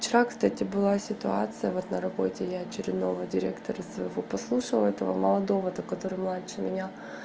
вчера кстати была ситуация вот на работе я очередного директора своего послушала этого молодого то который младше меня